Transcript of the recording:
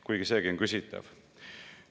" Kuigi seegi on küsitav.